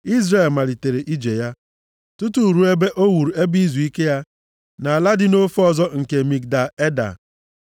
Izrel malitere ije ya, tutu ruo ebe o wuru ebe izuike ya nʼala dị nʼofe ọzọ nke Migdal Eda.